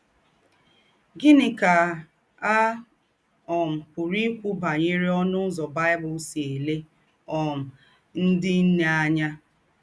Gịnị kà à um pụ̀rù́ íkwú bányèrè ǒ̀nụ̀ ụzọ̀ Bible sì èlè um ńdị nnè ányà?